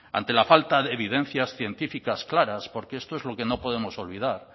ante la falta de evidencias científicas claras porque esto es lo que no podemos olvidar